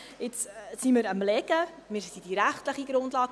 Jetzt sind wir am Legen der rechtlichen Grundlage.